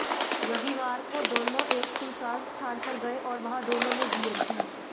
रविवार को दोनों एक सुनसान स्थान पर गए और वहां दोनों ने बीयर पी